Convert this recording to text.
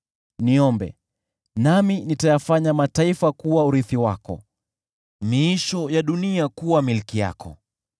Niombe, nami nitayafanya mataifa kuwa urithi wako, miisho ya dunia kuwa milki yako.